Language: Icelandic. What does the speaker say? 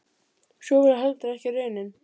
Sú varð heldur ekki raunin.